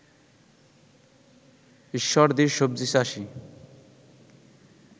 ঈশ্বরদীর সবজি চাষী